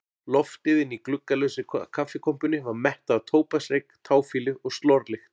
Loftið inni í gluggalausri kaffikompunni var mettað af tóbaksreyk, táfýlu og slorlykt.